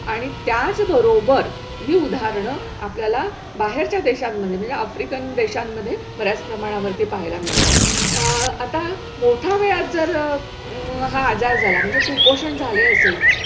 आणि त्याच बरोबर ही उदाहरणं आपल्याला बाहेरच्या देशांमध्ये म्हणजे आफ्रिकन देशांमध्ये बऱ्याच प्रमाणावरती पहायला मिळतायत. अह आता मोठ्या वयात जर अं हा आजार झाला म्हणजे कुपोषण झाले असेल,